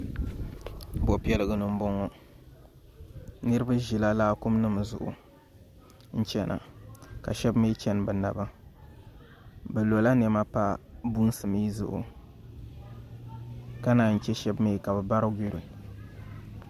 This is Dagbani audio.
bobi piɛligi ni n bɔŋɔ niriba ʒɛla laakum ni zuɣ' n chɛna ka shɛbi mi chɛni bi naba bi lola nɛma n pa bunsi mi zuɣ' ka naayi chɛ shɛb mi ka be bari yuri